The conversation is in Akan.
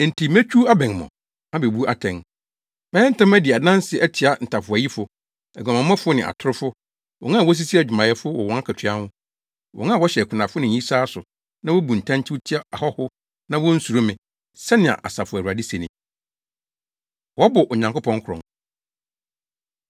“Enti metwiw abɛn mo, abebu atɛn. Mɛyɛ ntɛm adi adanse atia ntafowayifo, aguamammɔ ne atorofo, wɔn a wosisi adwumayɛfo wɔ wɔn akatua ho, wɔn a wɔhyɛ akunafo ne ayisaa so na wobu ntɛnkyew tia ahɔho na wonsuro me,” sɛnea Asafo Awurade se ni. Wɔbɔ Onyankopɔn Korɔn